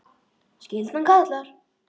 Skyldan kallar!